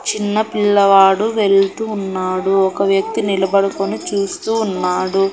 చిన్నపిల్లవాడు వెళుతూ ఉన్నాడు ఒక వ్యక్తి నిలబడుకుని చూస్తూ ఉన్నాడు.